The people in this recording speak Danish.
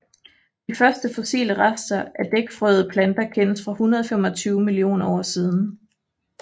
De første fossile rester af dækfrøede planter kendes fra 125 millioner år siden